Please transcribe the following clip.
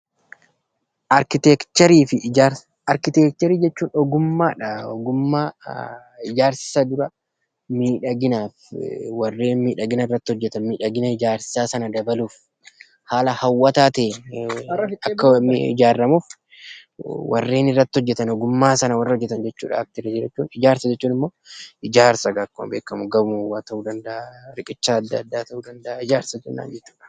Arkiteekcharii jechuun ogummaadha ogummaa ijaarsisaa dura miidhaginaa fi warreen miidhagina irratti hojjetaman miidhagina ijaarsaa sana dabaluuf. Haala hawwataa ta'een akka ijaaramuuf warreen irratti hojjetan ogummaa sana irratti hojjetan jechuudha arkiteekcharii jechuun. Ijaarsa jechuun immoo ijaarsa akkuma beekamu gamoo ta'uu danda'a, riqicha adda addaa ta'uu danda'a ijaarsa jenna jechuudha.